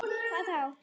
Hvað þá?